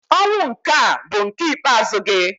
Ọnwụ nke a bụ nke ikpeazụ gị!